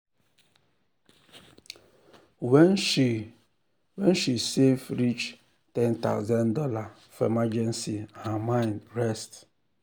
when she when she save reach one thousand dollars0 for emergency her mind rest